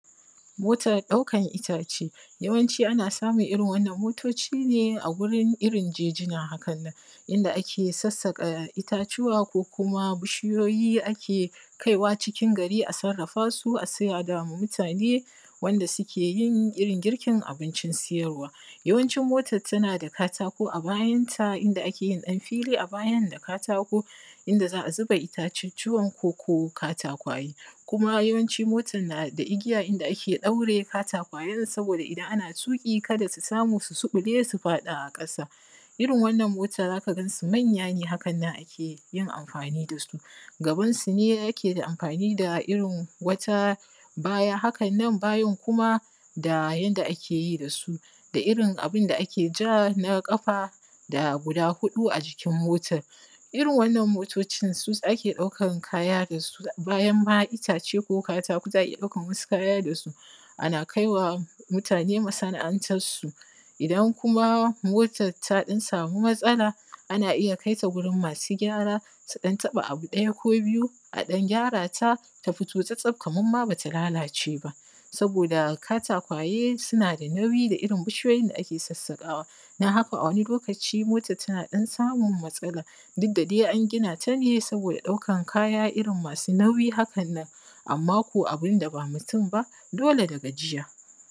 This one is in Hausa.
mo:tar ɗaukan ita:ʧe jawanʧi ana sa:mun irin wannan mo:to:ʧi ne a gurin irin ʤe:ʤina hakannan inda ake sassaƙa ita:tu:wa ko kuma biʃijo:ji ake kaiwa ʧikin ga:rii a sarra:fa:su sai a da:wo: ma muta:ne wanda suke jin irin girkin abinʧin sijarwaa ja:wanʧin mo:tan tana da ka:ta:ko a bajan ta inda ake jin ɗan fiilii a bajan da ka:taako: inda za a zuba ita:ʧuʧʧuwan koko ka:ta:kwa:je kuma jawanʧi mo:tan na: da igija inda ake ɗaure ka:takwa:jen sabo:da idan ana tu:ƙi kada su subule su faɗa a ƙasa irin wannan mo:ta za: ka gan su manja: ne haka nan ake amfa:ni da su gaban sune yake da amfa:ni: da irin wata: ba:ja hakan nan bajan kuma da janda ake ji da:su da irin abinda ake ʤa na: ƙafa da guda: huɗu a ʤikin mo:tan irin wannan mo:to:ʧin su: ake ɗaukan ka:ja da su bajan ma itaʧe ko ka:ta:ko za: a ija ɗaukan wasu ka:ja da su ana kai wa muta:ne masana’antassu idan kuma motan ta ɗan sa:mu matsa:la ana ija kaita gurin ma:su gya:ra su dan taɓa abu ɗa:ja ko biju a ɗan gyara ta ta fito tsa-tsaf kaman ma bata la:la:ce: ba sabo:da kata:kwaje suna da nauji da irin biʃijojin da ake sassaƙawa dan haka a wani lo:ka:ʧi mo:tan tana ɗan samun matsala duk da dai an gina ta ne sabo:da ɗaukan ka:ja irin ma:su nauyj hakan nan amma: ko abinda ba mutum ba dole da gaʤija